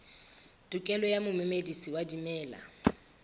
tokelo ya momedisi wa dimela